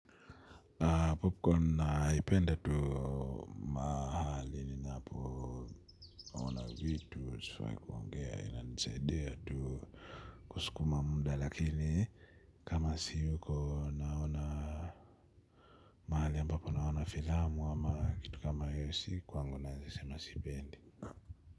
Popcorn naipenda tu mahali ninapo vitu sifai kuongea inanisaidia tu kusukuma muda lakini kama siyuko naona mahali ambapo naona filamu ama kitu kama hiyo si kwangu nawezasema sipendi.